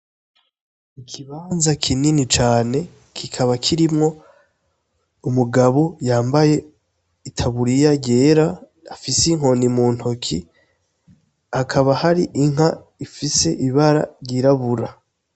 Ikibanza kinini cane kikaba kirimwo umugabo yambaye itaburiya yera afise inkoni muntoke, hakaba hari Inka ifise ibara ry'irabura.